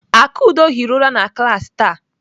Akudo hiri ụra na klaasị taa.